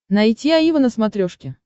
найти аива на смотрешке